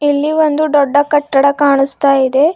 ಇಲ್ಲಿ ಒಂದು ದೊಡ್ಡ ಕಟ್ಟಡ ಕಾಣಿಸ್ತಾ ಇದೆ.